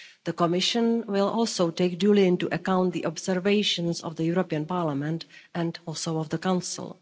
the Commission will also take duly into account the observations of the European Parliament and also of the Council.